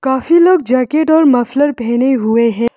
काफी लोग जैकेट और मफलर पहने हुए हैं।